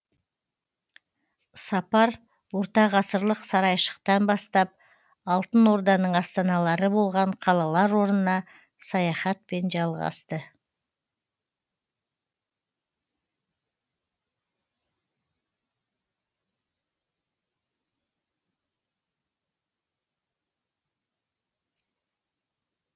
сапар ортағасырлық сарайшықтан бастап алтын орданың астаналары болған қалалар орнына саяхатпен жалғасты